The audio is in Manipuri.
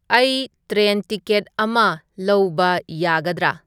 ꯑꯩ ꯇ꯭ꯔꯦꯟ ꯇꯤꯀꯦꯠ ꯑꯃ ꯂꯧꯕ ꯌꯥꯒꯗ꯭ꯔꯥ